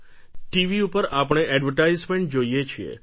TV ઉપર આપણે advertisement જોઈએ છીએ